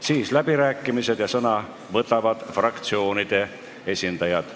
Seejärel on läbirääkimised, kus saavad sõna võtta fraktsioonide esindajad.